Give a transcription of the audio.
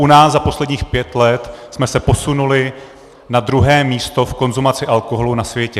U nás za posledních pět let jsme se posunuli na druhé místo v konzumaci alkoholu na světě.